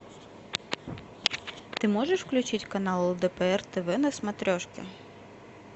ты можешь включить канал лдпр тв на смотрешке